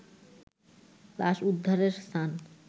লাশ উদ্ধারের স্থান